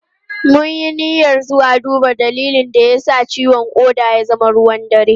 Mun yi niyyar zuwa duba dalilin da ya sa ciwon koda ya zama ruwan dare.